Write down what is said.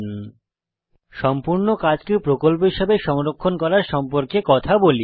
এখন আমরা সম্পূর্ণ কাজকে প্রকল্প হিসাবে সংরক্ষণ করার সম্পর্কে কথা বলি